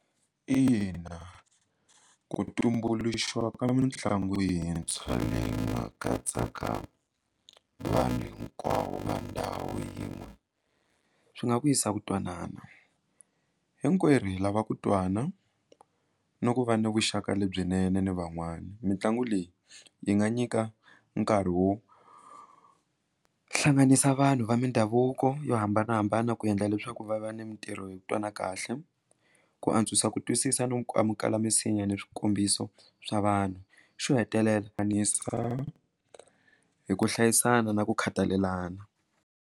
Ina, ku tumbuluxiwa ka mitlangu yintshwa leyi nga katsaka vanhu hinkwavo va ndhawu yin'we swi nga vuyisa ku twanana hinkwerhu lava ku twana no ku va ni vuxaka lebyinene ni van'wana mitlangu leyi yi nga nyika nkarhi wo hlanganisa vanhu va mindhavuko yo hambanahambana ku ku endla leswaku va va ni mitirho hi twa na kahle ku antswisa ku twisisa no amukela misinya ni swikombiso swa vanhu xo hetelela hi ku hlayisana na ku khathalelana.